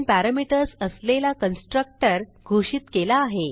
आपण पॅरामीटर्स असलेला कन्स्ट्रक्टर घोषित केला आहे